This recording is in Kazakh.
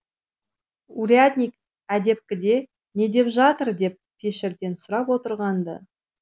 урядник әдепкіде не деп жатыр деп пешірден сұрап отырған ды